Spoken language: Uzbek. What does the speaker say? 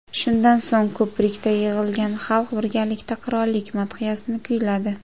Shundan so‘ng ko‘prikda yig‘ilgan xalq birgalikda qirollik madhiyasini kuyladi.